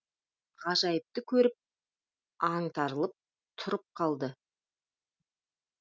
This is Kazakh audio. ғажайыпты көріп аңтарылып тұрып қалды